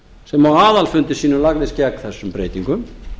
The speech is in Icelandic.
sem á aðalfundi sínum lagðist gegn þessum breytingum